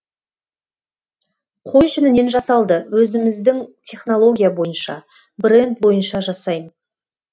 қой жүнінен жасалды өзіміздің технология бойынша бренд бойынша жасайм